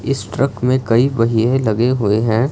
इस ट्रक में कई पहिए लगे हुए हैं।